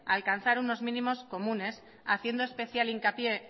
a alcanzar unos mínimos comunes haciendo especial hincapié